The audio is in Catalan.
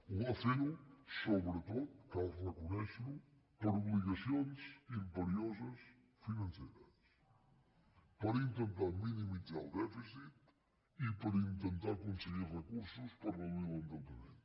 ho va fer sobretot cal reconèixer ho per obligacions imperioses financeres per intentar minimitzar el dèficit i per intentar aconseguir recursos per reduir l’endeutament